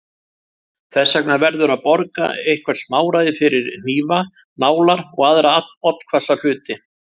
Þess vegna verður að borga eitthvert smáræði fyrir hnífa, nálar og aðra oddhvassa hluti.